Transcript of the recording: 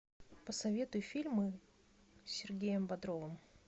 посоветуй фильмы с сергеем бодровым